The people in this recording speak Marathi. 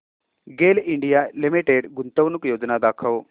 गेल इंडिया लिमिटेड गुंतवणूक योजना दाखव